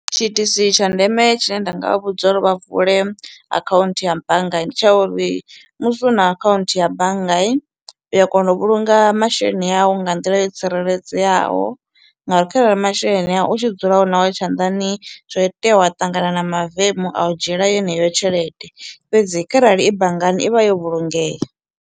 Tshiitisi tsha ndeme tshine nda nga vha vhudza uri vha vule akhaunthu ya banngani ndi tsha uri musi una akhaunthu ya bannga u ya kona u vhulunga masheleni awu nga nḓila yo tsireledzeaho ngauri kharali masheleni a u tshi dzula u nao tshanḓani zwi a itea wa ṱangana na mavemu a u dzhiela yeneyo tshelede fhedzi kharali i banngani i vha yo vhulungea.